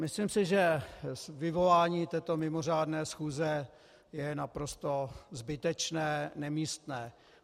Myslím si, že vyvolání této mimořádné schůze je naprosto zbytečné, nemístné.